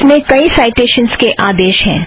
इसमें कईं साइटेशन के आदेश हैं